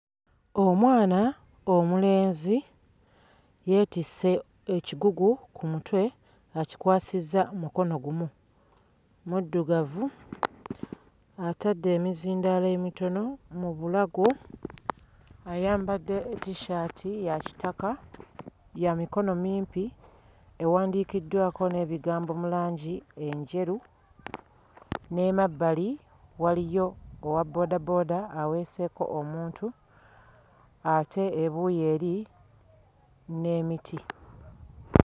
Omwana omulenzi yeetisse ekigugu ku mutwe akikwasizza mukono gumu. Muddugavu, atadde emizindaalo emitono mu bulago, ayambadde tissaati ya kitaka, ya mikono mimpi, ewandiikiddwako n'ebigambo mu langi enjeru, n'emabbali waliyo owabboodabooda aweeseeko omuntu ate ebuuyi eri n'emiti.